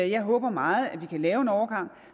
jeg håber meget at vi kan lave en overgang